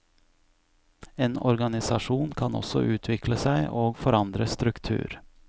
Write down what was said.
En organisasjon kan også utvikle seg og forandre struktur.